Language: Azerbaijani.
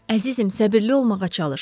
Əzizim, səbirli olmağa çalış.